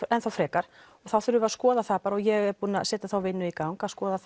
enn þá frekar og þá þurfum við að skoða það bara og ég er búin að setja þá vinnu í gang að skoða